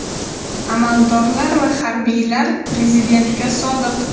Amaldorlar va harbiylar prezidentga sodiq.